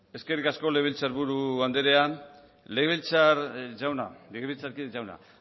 eskerrik asko legebiltzarburu andrea legebiltzarkide jauna